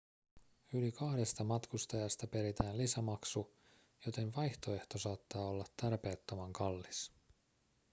yli kahdesta matkustajasta peritään lisämaksu joten vaihtoehto saattaa olla tarpeettoman kallis